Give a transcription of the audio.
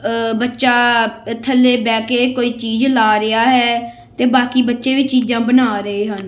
ਆ ਬੱਚਾ ਥੱਲੇ ਬਹਿ ਕੇ ਕੋਈ ਚੀਜ਼ ਲਾ ਰਿਹਾ ਹੈ ਤੇ ਬਾਕੀ ਬੱਚੇ ਵੀ ਚੀਜ਼ਾਂ ਬਣਾ ਰਹੇ ਹਨ।